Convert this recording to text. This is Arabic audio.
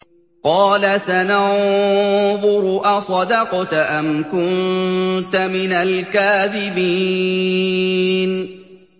۞ قَالَ سَنَنظُرُ أَصَدَقْتَ أَمْ كُنتَ مِنَ الْكَاذِبِينَ